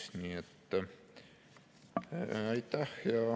Aitäh!